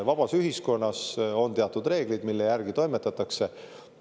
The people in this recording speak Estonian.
Vabas ühiskonnas on teatud reeglid, mille järgi toimetatakse.